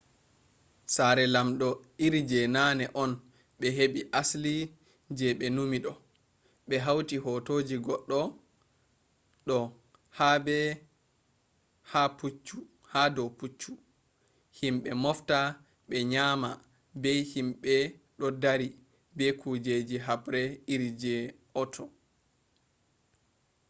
saare lamdo iri je nane on be hebi asli je be numi do be hauti hotoji goddo do habe ha do puccu himbe mofta be nyama be himbe do dari be kujeji habre iri je authur